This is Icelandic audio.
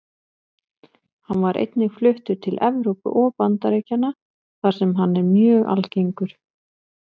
Hann var einnig fluttur til Evrópu og Bandaríkjanna þar sem hann er mjög algengur.